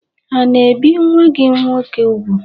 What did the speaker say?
Ha n'ebì nwa gị nwoke úgwù?